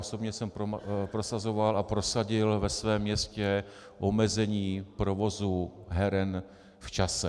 Osobně jsem prosazoval a prosadil ve svém městě omezení provozu heren v čase.